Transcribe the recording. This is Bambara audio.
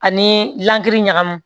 Ani lankiri ɲagamu